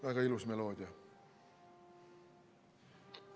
Väga ilus meloodia!